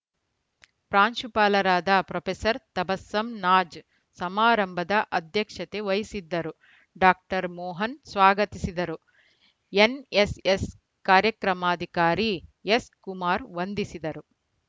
ಪ್ರಾಂಶುಪಾಲರಾದ ಪ್ರೊಫೆಸರ್ ತಬಸ್ಸಮ್‌ ನಾಜ್‌ ಸಮಾರಂಭದ ಅಧ್ಯಕ್ಷತೆ ವಹಿಸಿದ್ದರು ಡಾಕ್ಟರ್ ಮೊಹನ್‌ ಸ್ವಾಗತಿಸಿದರು ಎನ್‌ಎಸ್‌ಎಸ್‌ ಕಾರ್ಯಕ್ರಮಾಧಿಕಾರಿ ಎಸ್‌ ಕುಮಾರ್‌ ವಂದಿಸಿದರು